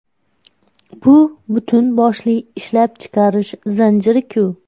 Bu butun boshli ishlab chiqarish zanjiri-ku.